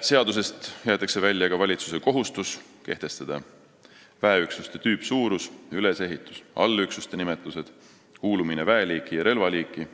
Seadusest jäetakse välja ka valitsuse kohustus kehtestada väeüksuste tüüpsuurus, ülesehitus, allüksuste nimetused, kuulumine väeliiki ja relvaliiki,